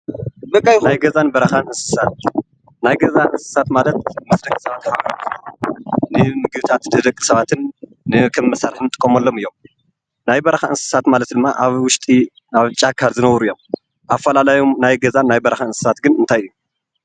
ናይ ገዛን በረካን እንስሳት ናይ ገዛ እንስሳት ማለት ምስ ደቂ ሰባት ዝነብሩን ንምግብታት ደቂ ሰባትን ንከምመሳርሒ እንጥቀመሎም እዮም፡፡ ናይ በረካ እንስሳት ዝብሃሉ ድማ ኣብ ጫካ ዝነብሩ እዮም፡፡ ኣፈላላዩም ናይ ገዛን ናይ በረካን እንስሳት እንታይ እዩ?